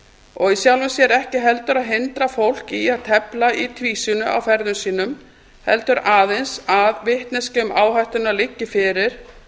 og í sjálfu sér ekki heldur að hindra fólk í að tefla í tvísýnu á ferðum sínum heldur aðeins að vitneskja um áhættuna liggi fyrir